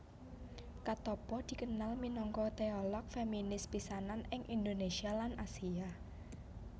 Katoppo dikenal minangka teolog feminis pisanan ing Indonesia lan Asia